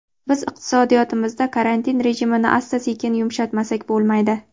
biz iqtisodiyotimizda karantin rejimini asta-sekin yumshatmasak bo‘lmaydi.